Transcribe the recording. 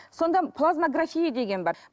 сонда плазмаграфия деген бар